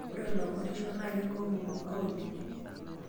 ore iloisungurisho naa kekumok imbaa oleng'